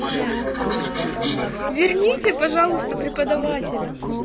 верните пожалуйста преподавателя